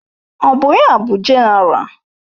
Ọ bụ ya bụ Jenéral?